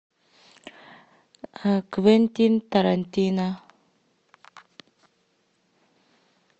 квентин тарантино